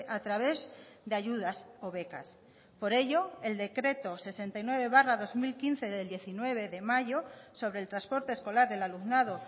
a través de ayudas o becas por ello el decreto sesenta y nueve barra dos mil quince del diecinueve de mayo sobre el transporte escolar del alumnado